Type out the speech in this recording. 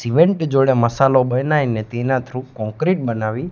cement જોડે મસાલો બનાઈને તેના થ્રુ કોંક્રિટ બનાવી--